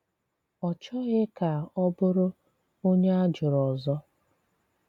Ọ chọghị kà ọ bụrụ ònye á jụrụ ọzọ.